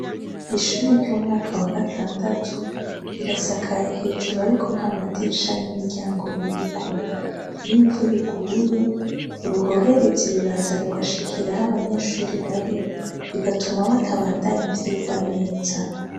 Ishuri ry'umwaka wa gatandatu rirasakaye hejuru ariko ntamadirisha n'imiryango biriko, iy'imvura iguye uruhoherezi ruraza rugashikira aho abanyeshuri bari bigatuma batabandanya ivyigwa neza.